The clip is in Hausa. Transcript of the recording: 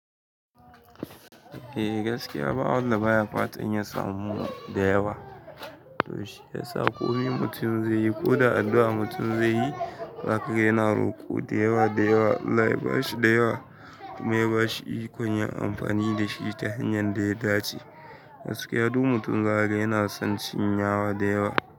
Eh gaskiya ba wanda baya fatan ya samu da yawa. To shiyasa ko mi mutum zai yi ko da addu'a mutum zai yi, zaka ga yana roƙo da yawa da yawa, Allah ya bashi da yawa kuma ya bashi ikon yin amfani da shi ta hanyar da ya dace. Gaskiya duk mutum zahaga yana son cin yawa da yawa.